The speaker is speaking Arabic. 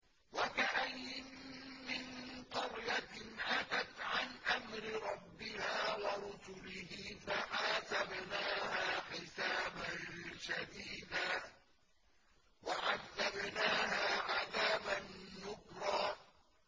وَكَأَيِّن مِّن قَرْيَةٍ عَتَتْ عَنْ أَمْرِ رَبِّهَا وَرُسُلِهِ فَحَاسَبْنَاهَا حِسَابًا شَدِيدًا وَعَذَّبْنَاهَا عَذَابًا نُّكْرًا